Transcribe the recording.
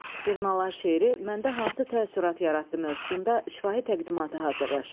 Durnalar şeiri məndə hansı təəssürat yaratdı mövzusunda şifahi təqdimatı hazırlaşın.